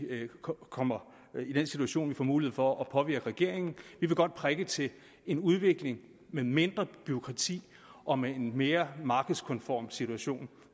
kommer i den situation at vi får mulighed for at påvirke regeringen vi vil godt prikke til en udvikling med mindre bureaukrati og med en mere markedskonform situation